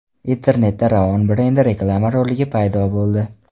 Internetda Ravon brendi reklama roligi paydo bo‘ldi .